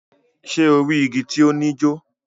Ṣe o ri igi ti o ni jo?